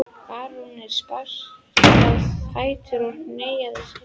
Baróninn spratt á fætur og hneigði sig.